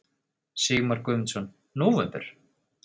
Sigmar Guðmundsson: Nóvember?